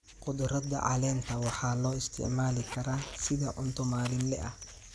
Khudradda caleenta waxaa loo isticmaali karaa sida cunto maalinle ah.